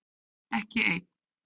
Ekki einn